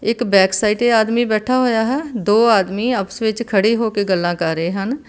ਇੱਕ back side ਤੇ ਆਦਮੀ ਬੈਠਾ ਹੋਇਆ ਹੈ ਦੋ ਆਦਮੀ ਖੜੇ ਹੋ ਕੇ ਗੱਲਾਂ ਕਰ ਰਹੇ ਹਨ।